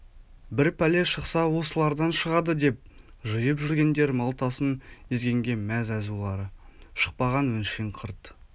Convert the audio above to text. бір пәле шықса осылардан шығады деп жиып жүргендер малтасын езгенге мәз азулары шықпаған өңшең қырт